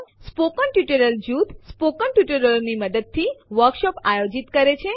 મૌખિક ટ્યુટોરિયલોનું જૂથ મૌખિક ટ્યુટોરિયલોની મદદથી વર્કશોપ આયોજિત કરે છે